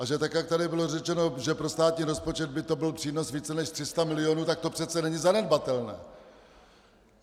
A že tak jak tady bylo řečeno, že pro státní rozpočet by to byl přínos více než 300 milionů, tak to přece není zanedbatelné.